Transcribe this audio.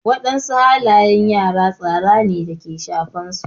Wadansu halayen yara tsara ne ke shafan su.